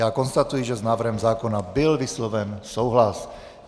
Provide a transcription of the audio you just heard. Já konstatuji, že s návrhem zákona byl vysloven souhlas.